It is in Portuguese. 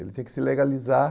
Ele tinha que se legalizar.